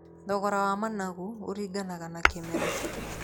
Thogora wa managu ũringanaga na kĩmera.